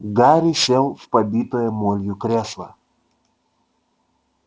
гарри сел в побитое молью кресло